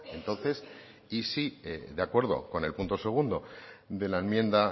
entonces y si de acuerdo con el punto segundo de la enmienda